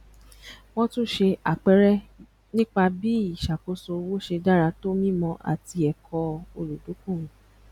wọn tún ṣe àpẹẹrẹ nípa bí ìṣàkóso owó ṣe dára tó mímọ àti ẹkọ olùdókòwò